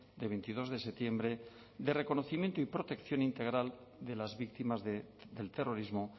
de veintidós de septiembre de reconocimiento y protección integral de las víctimas del terrorismo